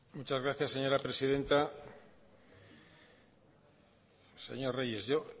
muchas gracias señora presidenta señor reyes yo